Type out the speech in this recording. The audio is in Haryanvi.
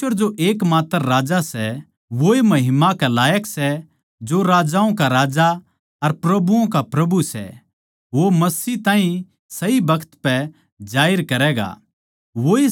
परमेसवर जो एकमात्र राजा सै वोए महिमा कै लायक सै जो राजाओं का राजा अर प्रभुओ का प्रभु सै वो मसीह ताहीं सही बखत पै जाहिर करैगा